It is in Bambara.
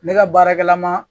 Ne ka baarakɛ la ma.